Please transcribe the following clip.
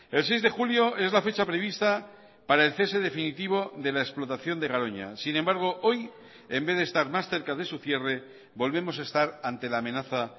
el seis de julio es la fecha prevista para el cese definitivo de la explotación de garoña sin embargo hoy en vez de estar más cerca de su cierre volvemos a estar ante la amenaza